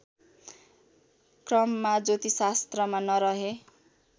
क्रममा ज्योतिषशास्त्रमा नरहे